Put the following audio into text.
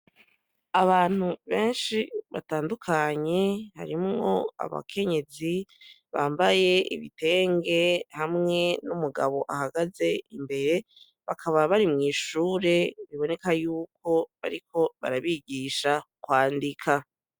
Abantu benshi batandukanye harimwo abakenyezi bambaye ibitenge hamwe n'umugabo ahagaze imbere bakaba bari mw'ishure biboneka yuko bariko barabigisha kwandika.